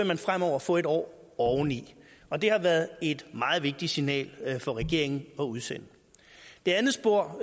man fremover få en år oveni og det har været et meget vigtigt signal for regeringen at udsende det andet spor